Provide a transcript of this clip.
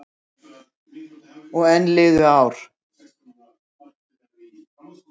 Og enn liðu ár.